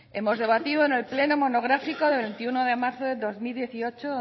hemos debatido en el pleno monográfico del veintiuno de marzo de dos mil dieciocho